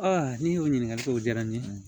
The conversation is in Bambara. ni o ɲininkaliw diyara n ye